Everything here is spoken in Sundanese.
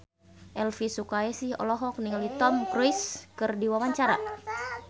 Elvi Sukaesih olohok ningali Tom Cruise keur diwawancara